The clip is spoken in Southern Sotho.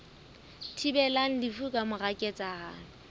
thibelang lefu ka mora ketsahalo